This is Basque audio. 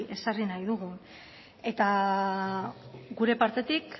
ezarri nahi dugun gure partetik